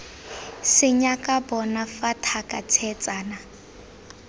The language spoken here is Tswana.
senyaka bona fa thaka tshetsana